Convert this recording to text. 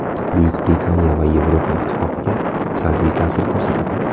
Bu Buyuk Britaniya va Yevropa Ittifoqiga salbiy ta’sir ko‘rsatadi.